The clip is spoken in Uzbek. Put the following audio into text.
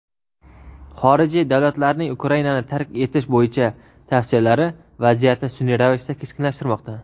xorijiy davlatlarning Ukrainani tark etish bo‘yicha tavsiyalari vaziyatni sunʼiy ravishda keskinlashtirmoqda.